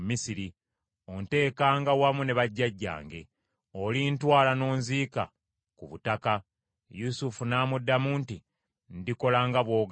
onteekanga wamu ne bajjajjange. Olintwala n’onziika ku butaka.” Yusufu n’amuddamu nti, “Ndikola nga bw’ogambye.”